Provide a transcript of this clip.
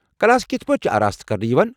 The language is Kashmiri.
کلاس کتھہٕ پٲٹھۍ چھِ آراستہٕ كرنہٕ یوان؟